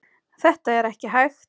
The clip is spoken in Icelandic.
Þetta er ekki hægt.